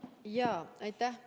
Aitäh!